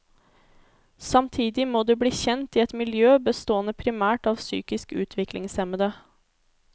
Samtidig må de bli kjent i et miljø bestående primært av psykisk utviklingshemmede.